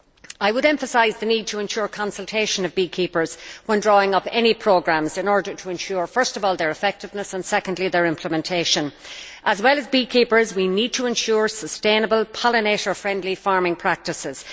I would emphasise the need to ensure consultation of beekeepers when drawing up any programmes, in order to ensure, first of all, their effectiveness, and secondly, their implementation. As well as beekeepers, we need to ensure sustainable, pollinator friendly farming practices.